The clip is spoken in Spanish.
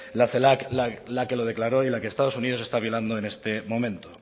la celac la que lo declaró y la que estados unidos está violando en este momento